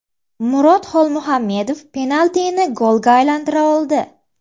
Murod Xolmuhammedov penaltini golga aylantira oldi.